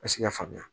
Ka se ka faamuya